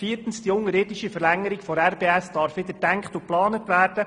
Viertens darf die unterirdische Verlängerung der RBS wieder gedacht und geplant werden.